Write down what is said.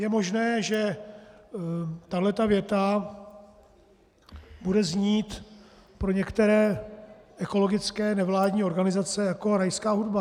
Je možné, že tato věta bude znít pro některé ekologické nevládní organizace jako rajská hudba.